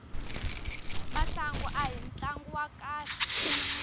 masangu ahi tlangu wa kahle